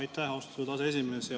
Aitäh, austatud aseesimees!